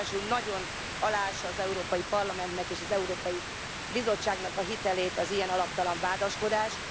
Ráadásul nagyon aláássa az Európai Parlamentnek és az Európai Bizottságnak a hitelét az ilyen alaptalan vádaskodás.